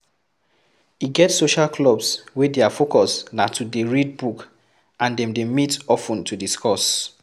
E get social clubs wey their focus na to dey read book and dem dey meet of ten to discuss